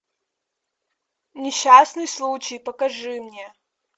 несчастный случай покажи мне